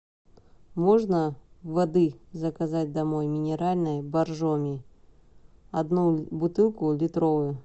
можно воды заказать домой минеральной боржоми одну бутылку литровую